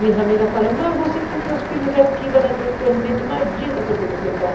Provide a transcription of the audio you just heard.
Minhas amigas falam, mas você tem teus filhos aqui, imagina só que você vai.